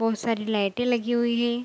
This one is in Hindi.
बहुत सारी लाइटे लगी हुई है।